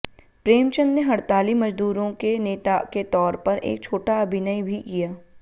प्रेमचंद ने हड़ताली मज़दूरों के नेता के तौर पर एक छोटा अभिनय भी किया